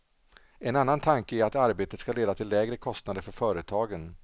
En annan tanke är att arbetet ska leda till lägre kostnader för företagen.